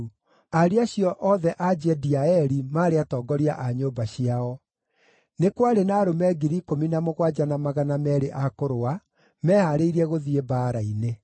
Ariũ acio othe a Jediaeli maarĩ atongoria a nyũmba ciao. Nĩ kwarĩ na arũme 17,200 a kũrũa mehaarĩirie gũthiĩ mbaara-inĩ.